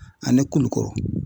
Ani Kulukoro.